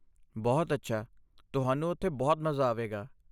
ਬਹੁਤ ਅੱਛਾ, ਤੁਹਾਨੂੰ ਉੱਥੇ ਬਹੁਤ ਮਜ਼ਾ ਆਵੇਗਾ।